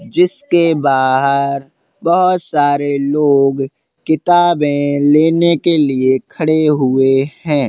जिसके बाहर बोहत सारे लोग किताबें लेने के लिए खड़े हुए हैं।